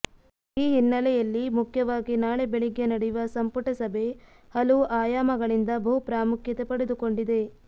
ಈ ಹಿನ್ನೆಲೆಯಲ್ಲಿ ಮುಖ್ಯವಾಗಿ ನಾಳೆ ಬೆಳಿಗ್ಗೆ ನಡೆಯುವ ಸಂಪುಟ ಸಭೆ ಹಲವು ಆಯಾಮಗಳಿಂದ ಬಹುಪ್ರಾಮುಖ್ಯತೆ ಪಡೆದುಕೊಂಡಿದೆ